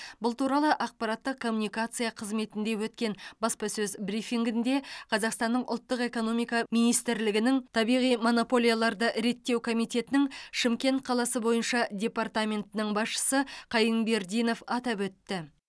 бұл туралы ақпараттық коммуникация қызметінде өткен баспасөз брифингінде қазақстанның ұлттық экономика министрлігінің табиғи монополияларды реттеу комитетінің шымкент қаласы бойынша департаментінің басшысы қайынбердинев атап өтті